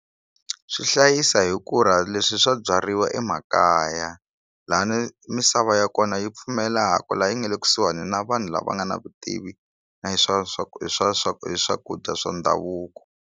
Swi hlayisa hi ku ra leswi swi byariwa emakaya lani misava ya kona yi pfumelaka la yi nga le kusuhani na vanhu lava nga na vutivi na swakudya swa ndhavuko.